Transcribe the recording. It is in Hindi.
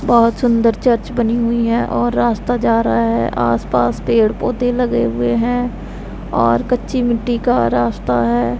बहोत सुंदर चर्च बनी हुई है और रास्ता जा रहा है आसपास पेड़ पौधे लगे हुए हैं और कच्ची मिट्टी का रास्ता है।